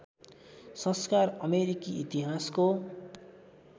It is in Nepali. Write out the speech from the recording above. संस्कार अमेरिकी इतिहासको